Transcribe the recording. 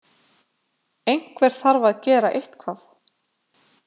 Einhver þarf að gera eitthvað.